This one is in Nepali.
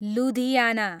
लुधियाना